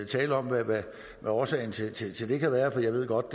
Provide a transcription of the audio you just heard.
tale om hvad årsagen til til det kan være jeg ved godt